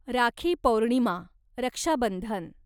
rakhi Purnima, Raksha Bandhan